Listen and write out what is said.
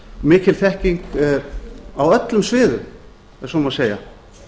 mikil þekking á öllum sviðum ef svo má segja